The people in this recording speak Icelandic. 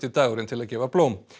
dagurinn til að gefa blóm